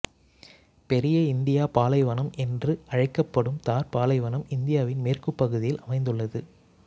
பெரிய இந்தியப் பாலைவனம் என்று அழைக்கப்படும் தார்ப் பாலைவனம் இந்தியாவின் மேற்குப்பகுதியில் அமைந்துள்ளது